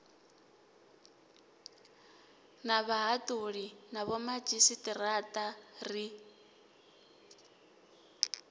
na vhahaṱuli na vhomadzhisiṱiraṱa ri